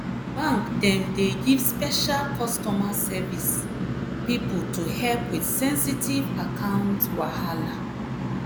bank dem dey give special customer service pipo to help with sensitive account wahala.